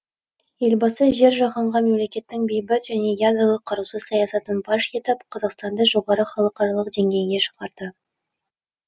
елбасы жер жаһанға мемлекеттің бейбіт және ядролық қарусыз саясатын паш етіп қазақстанды жоғары халықаралық деңгейіне шығарды